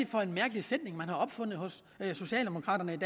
for en mærkelig sætning man har opfundet hos socialdemokraterne i